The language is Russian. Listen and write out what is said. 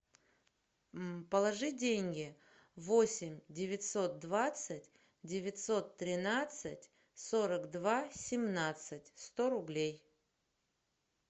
положи деньги восемь девятьсот двадцать девятьсот тринадцать сорок два семнадцать сто рублей